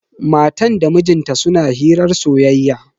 Matan da mijin ta suna hirar soyayya.